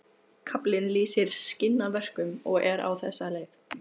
Kaflinn lýsir skinnaverkun og er á þessa leið